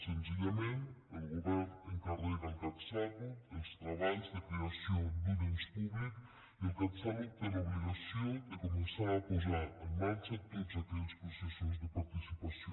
senzillament el govern encarrega al catsalut els treballs de creació d’un ens públic i el catsalut té l’obligació de començar a posar en marxa tots aquells processos de participació